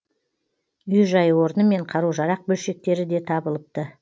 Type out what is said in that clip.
үй жай орны мен қару жарақ бөлшектері де табылыпты